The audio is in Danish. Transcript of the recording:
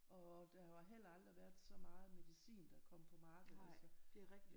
Og der har heller aldrig været så meget medicin der kom på markedet altså